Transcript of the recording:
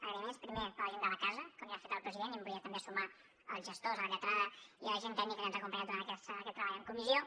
agraïments primer per a gent de la casa com ja ha fet el president i hi volia també sumar els gestors la lletrada i la gent tècnica que ens acompanya en tot aquest treball en comissió